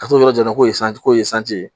Ka t'o yɔrɔ yira k'o ye k'o ye sanji ye